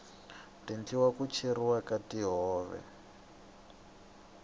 tindluwa ti cheriwa ka tihove